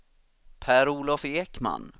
Per-Olof Ekman